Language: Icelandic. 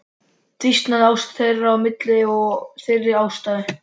Dvínaði ást þín á mér af þeirri ástæðu?